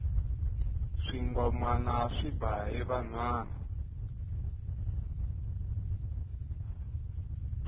swingomana swi ba hi vanhwana